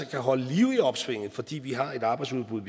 kan holde liv i opsvinget fordi vi har et arbejdsudbud